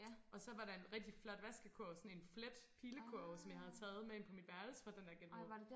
Og så var der en rigtig flot vaskekurv sådan en flet pilekurv som jeg havde taget med ind på mit værelse fra den der genbrug